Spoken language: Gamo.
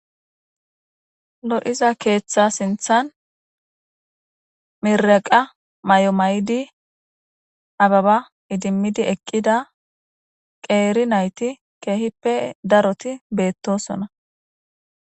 lo7iza keeththa sinthan miraqa may7o may7di ababa idimmidi eqqida qeeri nayti keehippe daroti beettosona